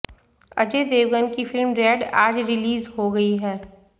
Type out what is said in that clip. अजय देवगन की film Raid आज release हो गई है